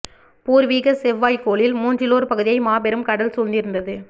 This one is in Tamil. பூர்வீகச் செவ்வாய்க் கோளில் மூன்றிலோர் பகுதியை மாபெரும் கடல் சூழ்ந்திருந்தது